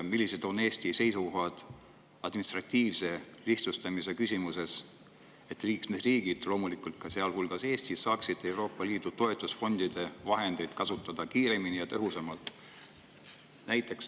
Millised on Eesti seisukohad administratiivse lihtsustamise küsimuses, et liikmesriigid, loomulikult sealhulgas Eesti, saaksid Euroopa Liidu toetusfondide vahendeid kasutada kiiremini ja tõhusamalt?